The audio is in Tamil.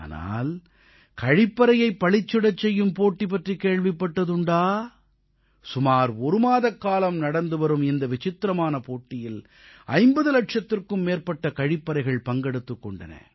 ஆனால் கழிப்பறையைப் பளிச்சிடச் செய்யும் போட்டி பற்றி கேள்விப்பட்டதுண்டா சுமார் ஒருமாத காலமாக நடந்து வரும் இந்த விசித்திரமான போட்டியில் 50 இலட்சத்திற்கும் மேற்பட்ட கழிப்பறைகள் பங்கெடுத்துக் கொண்டன